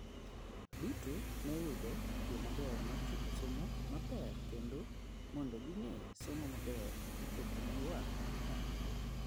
duto ne yudo yo maber mar chopo somo maber kendo mondo ging'e somo maber dhichopo ne ywak mantiere